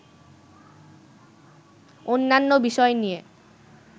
অন্যান্য বিষয় নিয়ে